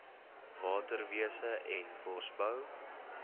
waterwese en bosbou